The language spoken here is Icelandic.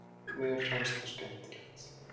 Mér fannst það skemmtilegt.